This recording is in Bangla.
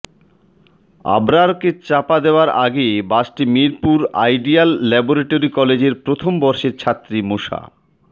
আবরারকে চাপা দেওয়ার আগে বাসটি মিরপুর আইডিয়াল ল্যাবরেটরি কলেজের প্রথম বর্ষের ছাত্রী মোসা